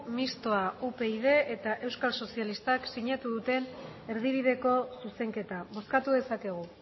mistoa upyd eta euskal sozialistak sinatu duten erdibideko zuzenketa bozkatu dezakegu